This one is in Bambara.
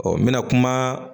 Ɔ n mɛna kuma